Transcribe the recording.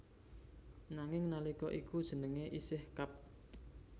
Nanging nalika iku jenenge isih Kab